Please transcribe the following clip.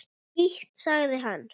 Skítt, sagði hann.